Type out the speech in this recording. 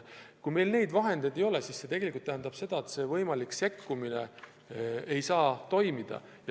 Kui meil selleks vahendeid ei ole, siis see tähendab seda, et see võimalik sekkumine ei saa toimida.